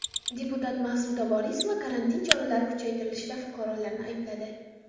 Deputat Maqsuda Vorisova karantin choralari kuchaytirilishida fuqarolarni aybladi.